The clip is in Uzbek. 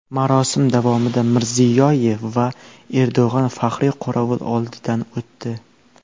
Marosim davomida Mirziyoyev va Erdo‘g‘on faxriy qorovul oldidan o‘tdi.